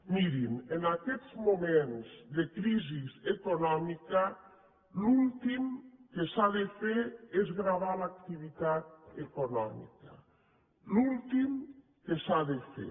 mirin en aquests moments de crisi econòmica l’últim que s’ha de fer és gravar l’activitat econòmica l’últim que s’ha de fer